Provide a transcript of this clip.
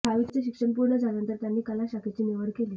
दहावीचे शिक्षण पूर्ण झाल्यानंतर त्यांनी कला शाखेची निवड केली